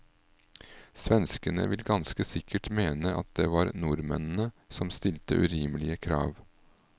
Svenskene vil ganske sikkert mene at det var nordmennene som stilte urimelige krav.